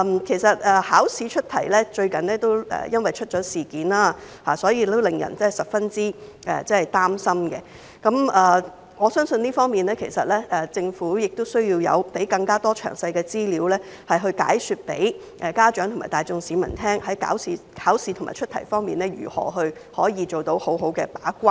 最近考試出題出現了問題，令人十分擔心。在這方面，我相信政府亦需要提供更多詳細資料，向家長及市民大眾解說在考試和出題方面如何可以做到好好的把關。